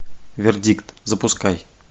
вердикт запускай